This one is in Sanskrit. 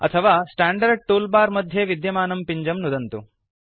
अथवा स्टैंडर्ड टूलबार मध्ये विद्यमानं पिञ्जं नुदन्तु